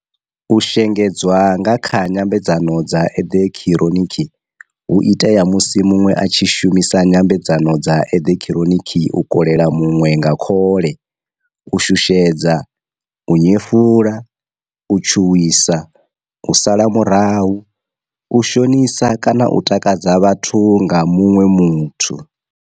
U shengedzwa nga kha nyambedzano dza eḓekhironiki hu itea musi muḓwe a tshi shumisa nyambedzano dza eḓekhironiki u kolela muḓwe nga khole, u shushedza, u nyefula, u tshuwisa, u sala murahu, u shonisa kana u takadza vhathu nga muṅwe muthu.